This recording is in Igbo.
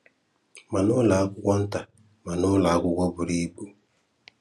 Ma n'ụlọ akwụkwọ nta ma n'ụlọ akwụkwọ buru ibu